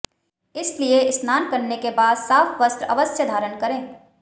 इसलिए स्नान करने के बाद साफ वस्त्र अवश्य धारण करें